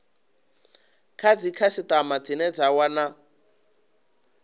kha dzikhasitama dzine dza wana